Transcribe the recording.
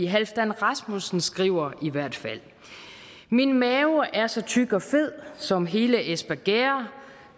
halfdan rasmussen skriver i hvert fald min mave er så tyk og fed som hele espergærde